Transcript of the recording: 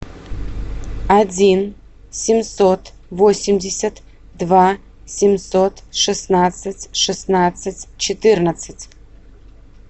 один семьсот восемьдесят два семьсот шестнадцать шестнадцать четырнадцать